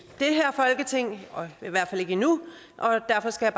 det her folketing i hvert fald ikke endnu derfor skal